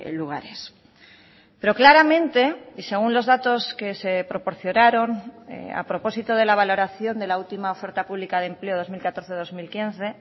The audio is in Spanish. lugares pero claramente y según los datos que se proporcionaron a propósito de la valoración de la última oferta pública de empleo dos mil catorce dos mil quince